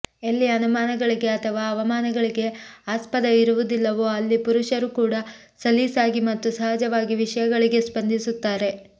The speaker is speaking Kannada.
ಎಲ್ಲಿ ಅನುಮಾನಗಳಿಗೆ ಅಥವಾ ಅವಮಾನಗಳಿಗೆ ಆಸ್ಪದ ಇರುವುದಿಲ್ಲವೋ ಅಲ್ಲಿ ಪುರುಷರೂ ಕೂಡ ಸಲೀಸಾಗಿ ಮತ್ತು ಸಹಜವಾಗಿ ವಿಷಯಗಳಿಗೆ ಸ್ಪಂದಿಸುತ್ತಾರೆ